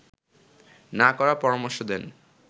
না করার পরামর্শ দেন